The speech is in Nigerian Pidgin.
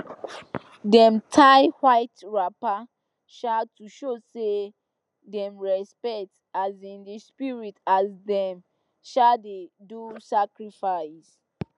dem tie white wrapper um to show say dem respect um the spirit as dem um dey do sacrifice